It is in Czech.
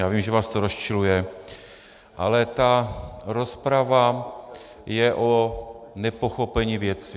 Já vím, že vás to rozčiluje, ale ta rozprava je o nepochopení věci.